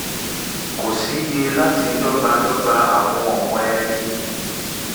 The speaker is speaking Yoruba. kò sí yẹ láti dọ́gbadọ́gba àwọn ọ̀wọ́n eni um